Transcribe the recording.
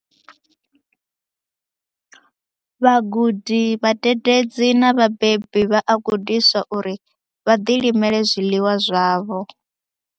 Vhagudi, vhadededzi na vhabebi vha a gudiswa uri vha ḓilimele zwiḽiwa zwavho.